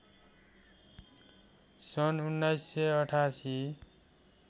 सन् १९८८